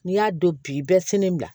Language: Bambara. N'i y'a don bi bɛɛ selen bila